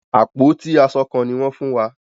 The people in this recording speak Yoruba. Àpótí aṣọ kán ní wọ́n fún wa.